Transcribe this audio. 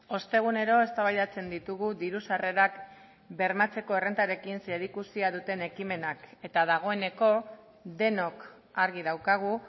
ostegunero eztabaidatzen ditugu diru sarrerak bermatzeko errentarekin zerikusia duten ekimenak eta dagoeneko denok argi daukagu